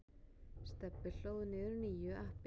Stebbi hlóð niður nýju appi.